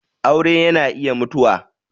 aure yana iya mutuwa.